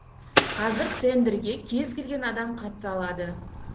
қазір тендерге кез келген адам қатыса алады